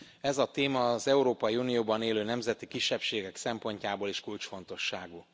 Ez a téma az Európai Unióban élő nemzeti kisebbségek szempontjából is kulcsfontosságú.